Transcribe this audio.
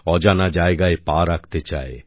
অজানা জায়গায় পা রাখতে চায়